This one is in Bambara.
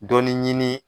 Dɔnni ɲini